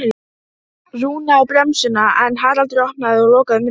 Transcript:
Slíka starfsemi má venjulega ekki reka í hlutafélagsformi erlendis.